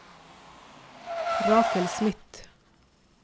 Rakel Smith